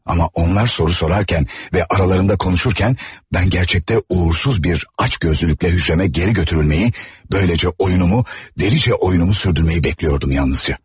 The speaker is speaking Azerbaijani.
Ama onlar soru sorarken ve aralarında konuşurken, bən gərçəkdə uğursuz bir aç gözlülüklə hücrəmə geri götürülməyi, böyləcə oyunumu, dəlicə oyunumu sürdürməyi bekliyordum yalnızca.